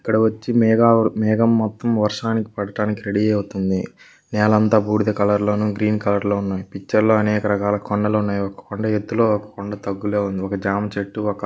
ఇక్కడ వచ్చి పెద్ద మేఘాలు వర్షం పడడానికి రెడీ అవుతుంది.నేలంతా బూడిద కలర్ లోన గ్రీన్ కలర్ లోను అనేక రకాల కొండలు ఉన్నాయి. ఒక కొండా ఎత్తులో ఒక కొండా తగ్గులోఒక జామ చెట్టు--